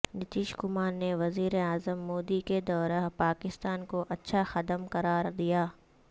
نتیش کمار نے وزیر اعظم مودی کے دورہ پاکستان کو اچھا قدم قرار دیا